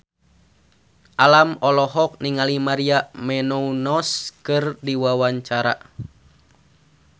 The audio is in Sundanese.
Alam olohok ningali Maria Menounos keur diwawancara